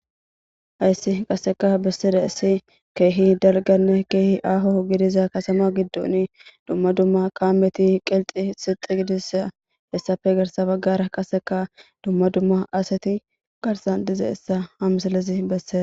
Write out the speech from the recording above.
Hayssi qaseka bessida issi keehi dalganne keehi aaho gidiza kasama giddon dumma dumma qaameti qelxi sixi gidisa hessafe garsa baggara qaseka dumma dumma aseti garsan diza issa hamsalezi besseda.